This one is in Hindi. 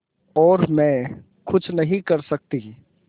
और मैं कुछ नहीं कर सकती